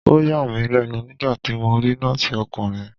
Ó yà mí lẹ́nu nígbàtí mo rí Nọ́ọ̀sì ọkùnrin.